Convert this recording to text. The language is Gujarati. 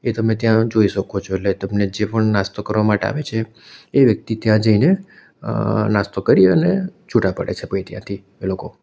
એ તમે ત્યાં જોઈ શકો છો એટલે તમને જે પણ નાસ્તો કરવા માટે આવે છે એ વ્યક્તિ ત્યાં જઈને અ નાસ્તો કરી અને છૂટા પડે છે પહી ત્યાંથી એ લોકો.